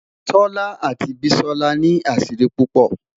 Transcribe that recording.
tola ati bisola ni asiri pupo